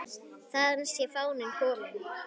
Þaðan sé fáninn kominn.